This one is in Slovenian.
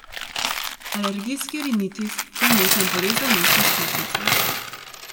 Alergijski rinitis je vnetna bolezen nosne sluznice.